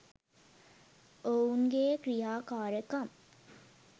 ඔවුනගේ ක්‍රියාකාරකම්